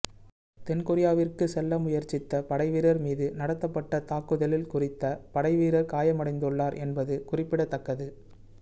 தென் கொரியாவிற்கு செல்ல முயற்சித்த படைவீரர் மீது நடத்தப்பட்ட தாக்குதலில் குறித்த படைவீரர் காயமடைந்துள்ளார் என்பது குறிப்பிடத்தக்கது